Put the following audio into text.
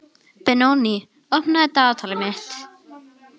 Benoný, opnaðu dagatalið mitt.